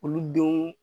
Olu denw